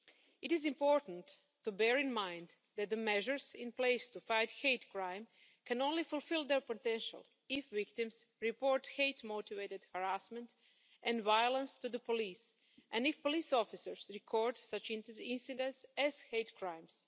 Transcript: It is important to bear in mind that the measures in place to fight hate crime can only fulfil their potential if victims report hate motivated harassment and violence to the police, and if police officers record such incidents as hate crimes.